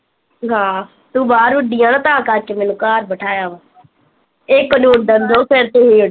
ਹਾਂ, ਤੂੰ ਬਾਹਰ ਉਡੀ ਐ ਨਾ ਤਾਂ ਕਰਕੇ ਮੈਨੂੰ ਘਰ ਬਿਠਾਇਆ ਵਾ ਏਹ ਕਨੂਨਣ